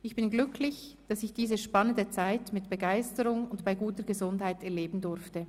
Ich bin glücklich, dass ich diese spannende Zeit mit Begeisterung und bei guter Gesundheit erleben durfte.